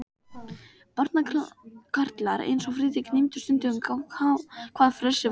Barnakarlar eins og Friðrik gleymdu stundum, hvað frelsi væri.